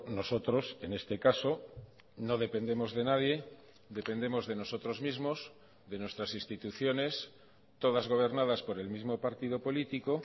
nosotros en este caso no dependemos de nadie dependemos de nosotros mismos de nuestras instituciones todas gobernadas por el mismo partido político